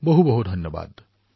অশেষ ধন্যবাদ